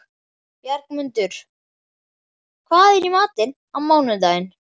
Bjargmundur, hvað er í matinn á mánudaginn?